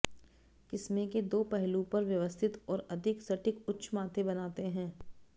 किस्में के दो पहलू पर व्यवस्थित और अधिक सटीक उच्च माथे बनाते हैं